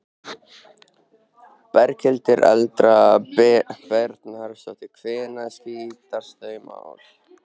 Berghildur Erla Bernharðsdóttir: Hvenær skýrast þau mál?